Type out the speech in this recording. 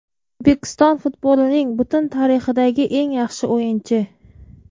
O‘zbekiston futbolining butun tarixidagi eng yaxshi o‘yinchi!!